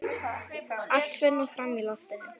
Allt fer nú fram í loftinu.